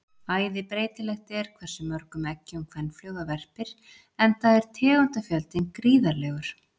æði breytilegt er hversu mörgum eggjum kvenfluga verpir enda er tegundafjöldinn gríðarlegur